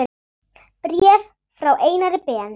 Bréf frá Einari Ben